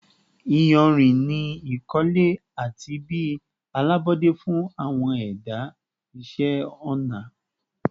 iyanrin ni ikole ati bi alabọde fun awọn ẹda iṣẹ ọna